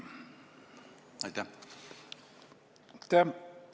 Aitäh!